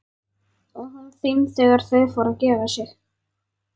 Og hún þeim þegar þau fóru að gefa sig.